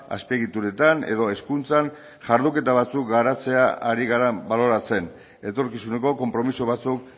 azpiegituretan edo hezkuntzan jarduketa batzuk garatzea ari gara baloratzen etorkizuneko konpromiso batzuk